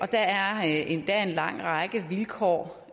der er endda en lang række vilkår